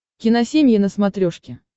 киносемья на смотрешке